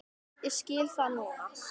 Ég skil það núna.